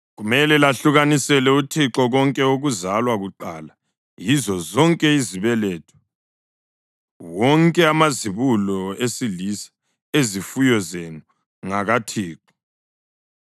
kumele lahlukanisele uThixo konke okuzalwa kuqala yizo zonke izibeletho. Wonke amazibulo esilisa ezifuyo zenu ngakaThixo.